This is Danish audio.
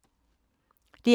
DR K